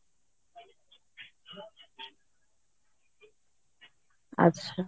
ଆଛା